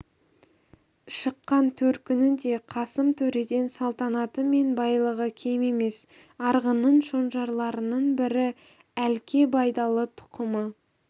шыққан төркіні де қасым төреден салтанаты мен байлығы кем емес арғынның шонжарларының бірі әлке байдалы тұқымы